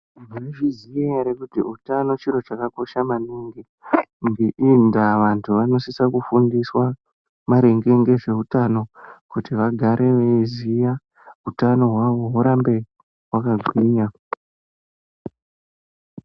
Maizviziya ere kuti utano chiro chakakosha maningi ndava vantu vanosisa kufundiswa maringe ngezveutano kuti vagare veiziya kuti hutano hwavo hurambe hwakagwinya.